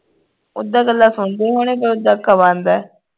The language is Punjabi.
ਉਦਾਂ ਗੱਲਾਂ ਸੁਣਦੇ ਹੋਣੇ ਪਰ ਉਦਾਂ ਅੱਖਾਂ ਬੰਦ ਆ